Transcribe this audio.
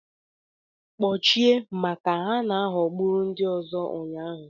Kpochie maka na ha ghọgburu ndị ọzọ ụnyaahụ